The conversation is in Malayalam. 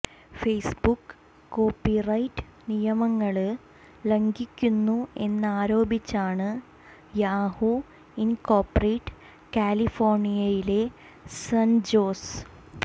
ഫേസ്ബുക്ക് കോപ്പി റൈറ്റ് നിയമങ്ങള് ലംഘിക്കുന്നു എന്നാരോപിച്ചാണ് യാഹൂ ഇന്കോപ്പറേറ്റ് കാലിഫോര്ണിയയിലെ സന്ജോസ്